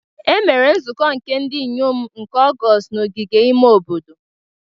Emere nzukọ nke ndị inyom nke Ọgọọst n'ogige ime obodo.